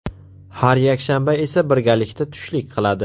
Har yakshanba esa birgalikda tushlik qiladi.